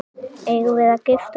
Eigum við að gifta okkur?